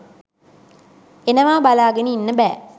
එනවා බලාගෙන ඉන්න බෑ